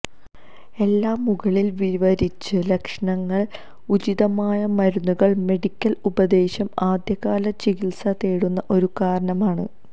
എല്ലാ മുകളിൽ വിവരിച്ച ലക്ഷണങ്ങൾ ഉചിതമായ മരുന്നുകൾ മെഡിക്കൽ ഉപദേശം ആദ്യകാല ചികിത്സ തേടുന്ന ഒരു കാരണം ആണ്